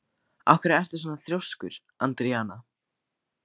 Af hverju ertu svona þrjóskur, Andríana?